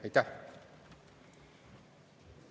Aitäh!